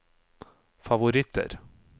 favoritter